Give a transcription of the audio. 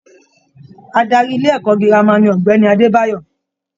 Adarí ilé-ẹ̀kọ́ girama ni Ogbeni Adebayo.